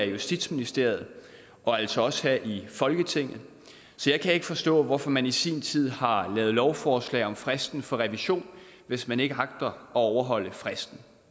justitsministeriet og altså også her i folketinget jeg kan ikke forstå hvorfor man i sin tid har lavet lovforslag om fristen for revision hvis man ikke agter at overholde fristen